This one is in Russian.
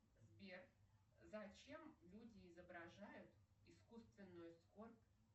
сбер зачем люди изображают исскуственную скорбь